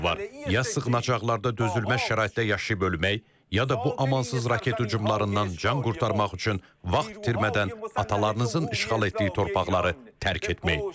Ya sığınacaqlarda dözülməz şəraitdə yaşayıb ölmək, ya da bu amansız raket hücumlarından can qurtarmaq üçün vaxt itirmədən atalarınızın işğal etdiyi torpaqları tərk etmək.